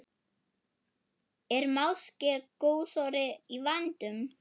Er máske gosórói í vændum?